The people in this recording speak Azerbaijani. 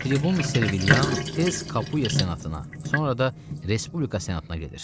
Tribun Serviliyan tez Kapuya senatına, sonra da Respublika senatına gedir.